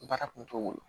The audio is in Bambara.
Baara kun t'o bolo